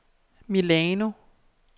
Milano